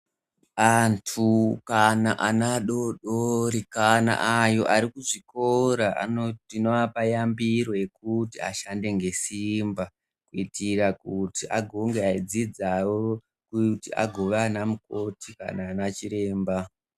Anhu kana ana adodori kana avo varikuzvikora ndinovapa yambiro yekuti vashande ngesimba kuitira kuti vagova vachidzidzavo kuti vagova ana mukoti kana kuti vanachiremba